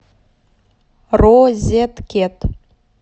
розеткед